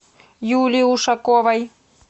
юлии ушаковой